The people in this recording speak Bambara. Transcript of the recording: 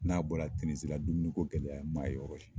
N'a bɔra Tinizi la dumuniko gɛlɛya n man ye yɔrɔ si la.